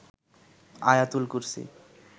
আয়াতুল কুরসী